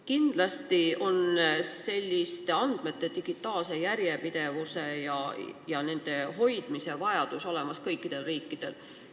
Kindlasti on andmete digitaalse järjepidevuse ja nende hoidmise vajadus olemas kõikidel riikidel.